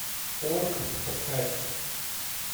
орк подкастер